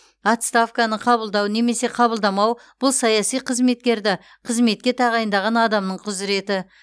отставканы қабылдау немесе қабылдамау бұл саяси қызметкерді қызметке тағайындаған адамның құзыреті